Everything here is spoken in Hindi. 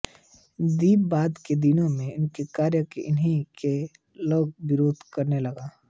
यद्यपि बाद के दिनों में उनके कार्यों का उन्हीं के लोग विरोध करने लगे थे